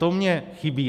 To mně chybí.